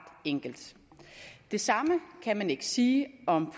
enkelt det samme kan man ikke sige om